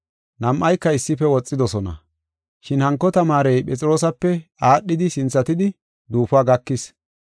Nam7ayka issife woxidosona, shin hanko tamaarey Phexroosape aadhidi sinthatidi duufuwa gakis.